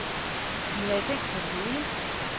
De havde tænkt på det hele.